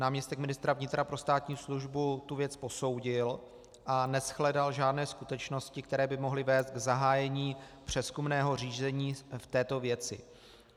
Náměstek ministra vnitra pro státní službu tu věc posoudil a neshledal žádné skutečnosti, které by mohly vést k zahájení přezkumného řízení v této věci.